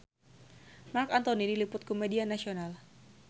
Marc Anthony diliput ku media nasional